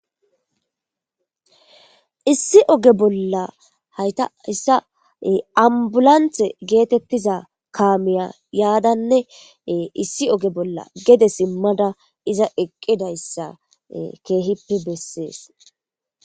issi oge bolla hayta issa ambulanthe geetettiza kaamiya yaadanne issi oge bolla gede simmada iza eqqidayssa keehippe bessees